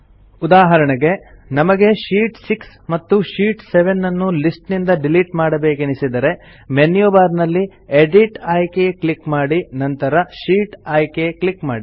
ಉದಾಹರಣೆಗೆ ನಮಗೆ ಶೀಟ್ 6 ಮತ್ತು ಶೀಟ್ 7ನ್ನು ಲಿಸ್ಟ್ ನಿಂದ ಡಿಲಿಟ್ ಮಾಡಬೇಕೆನಿಸಿದರೆ ಮೆನ್ಯು ಬಾರ್ ನಲ್ಲಿ ಎಡಿಟ್ ಆಯ್ಕೆ ಕ್ಲಿಕ್ ಮಾಡಿ ನಂತರ ಶೀಟ್ ಆಯ್ಕೆ ಕ್ಲಿಕ್ ಮಾಡಿ